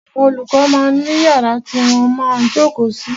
Àwọn olùkọ máa ń ní yàrá tí wọ́n máa ń jókòó sí.